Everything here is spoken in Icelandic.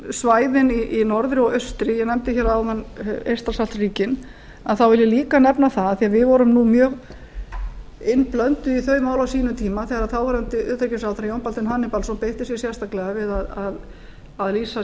svæðin í norðri og austri ég nefndi hér áðan eystrasaltsríkin þá vil ég líka nefna það því við vorum nú mjög innblönduð í þau mál á sínum tíma þegar þáverandi utanríkisráðherra jón baldvin hannibalsson beitti sér sérstaklega við að lýsa